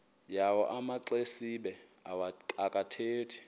yawo amaxesibe akathethi